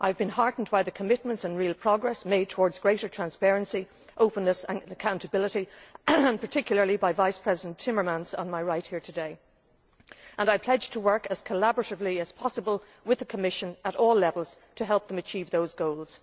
I have been heartened by the commitments on, and the real progress made toward, greater transparency, openness and accountability, particularly by Vice President Timmermans on my right here today, and I pledge to work as collaboratively as possible with the Commission at all levels to help them achieve those goals.